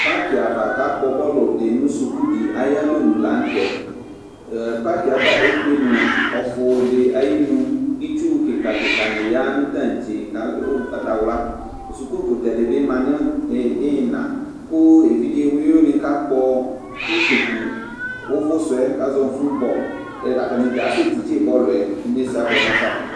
Akapkɔ bɔlʋ nʋ paki ava nʋ sʋkʋdi ayʋ alɔnʋ lanʋtɛ paki yɛ ava ekple nʋ ɔfʋdi ayʋ inʋ kʋ itsu kika kika ni ya nʋ tantse kʋ alʋ ʋgbatawla kʋ sʋkʋkʋtɛ dibi manʋ nʋ ina kʋ evidze wuyu wuyu ni kakpɔ utoku ʋvʋsʋ yɛ kʋ azɔnʋ fʋtbɔl kʋ atanidza aketitse bɔlʋ yɛ kʋ inyisɛ abʋ nafa